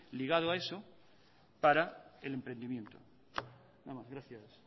ligado a eso para el emprendimiento gracias